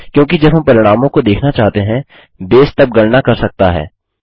क्योंकि जब हम परिणामों को देखना चाहते हैं बेस तब गणना कर सकता है